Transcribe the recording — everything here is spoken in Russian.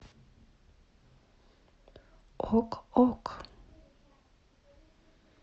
ок ок